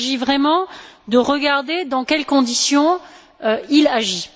Il s'agit vraiment de regarder dans quelles conditions il agit.